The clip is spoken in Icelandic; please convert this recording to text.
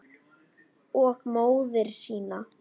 Og móður sína.